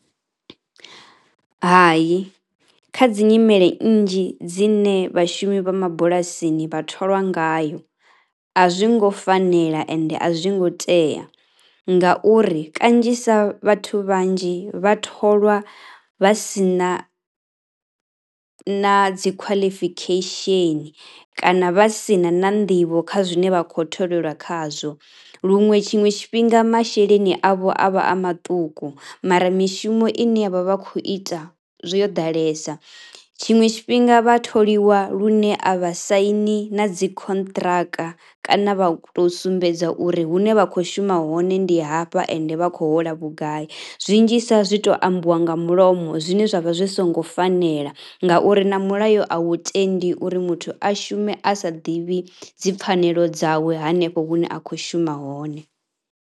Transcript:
Hai, kha dzi nyimele nnzhi dzine vhashumi vha mabulasini vha tholiwa ngayo a zwi ngo fanela ende a zwi ngo tea ngauri kanzhisa vhathu vhanzhi vha tholwa vha si na na qualification kana vha si na na nḓivho kha zwine vha khou tholelwa khazwo luṅwe tshiṅwe tshifhinga masheleni avho a vha a maṱuku mara mishumo ine vha vha khou ita yo ḓalesa. Tshiṅwe tshifhinga vha tholiwa lune a vha saini na dzi contract kana vha tou sumbedza uri hune vha khou shuma hone ndi hafha ende vha khou hola vhugai zwinzhisa zwi tou ambiwa nga mulomo zwine zwa vha zwi songo fanela ngauri na mulayo a wu tendi uri muthu a shume a sa ḓivhi dzipfhanelo dzawe hanefho hune a khou shuma hone.